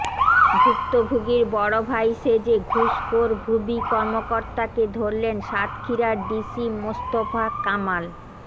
ভুক্তভোগীর বড় ভাই সেজে ঘুষখোর ভূমি কর্মকর্তাকে ধরলেন সাতক্ষীরার ডিসি মোস্তফা কামাল